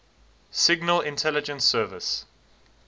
signal intelligence service